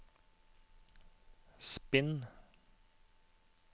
spinn